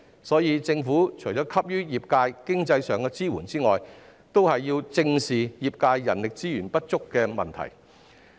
所以，政府除了給予業界經濟上的支援外，亦需要正視業界人力資源不足的問題。